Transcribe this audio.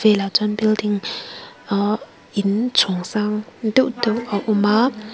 nihloh chuan building ahh inchhawng sang deuh deuh a awm a.